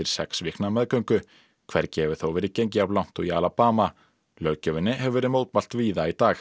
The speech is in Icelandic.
sex vikna meðgöngu hvergi hefur þó verið gengið jafn langt og í Alabama löggjöfinni hefur verið mótmælt víða í dag